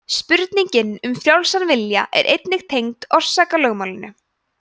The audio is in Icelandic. spurningin um frjálsan vilja er einnig tengd orsakalögmálinu